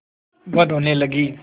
वह रोने लगी